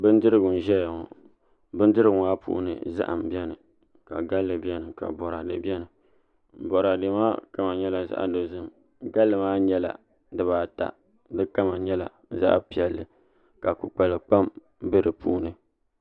Bindirigu n ʒɛya ŋo bindirigu maa puuni zaham bɛni ka galli bɛni ka boraadɛ bɛni boraadɛ maa kama nyɛla zaɣ dozim galli ma nyɛla dibaata di kama nyɛla zaɣ piɛlli ka kpukpali kpam bɛ di puuni